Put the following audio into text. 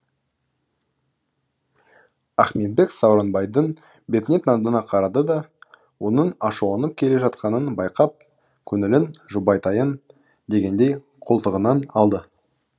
ахметбек сауранбайдың бетіне таңдана қарады да оның ашуланып келе жатқанын байқап көңілін жұбатайын дегендей қолтығынан алды